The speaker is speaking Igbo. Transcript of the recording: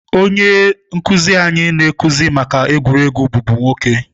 Onye nkuzi anyị na-akụzi maka egwuregwu bụbu nwoke.